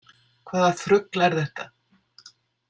Hvaða þrugl er þetta?